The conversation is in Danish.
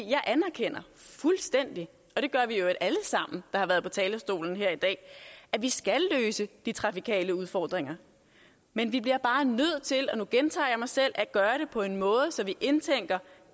jeg anerkender fuldstændig og det gør vi i øvrigt alle sammen der har været på talerstolen her i dag at vi skal løse de trafikale udfordringer men vi bliver bare nødt til og nu gentager jeg mig selv at gøre det på en måde så vi indtænker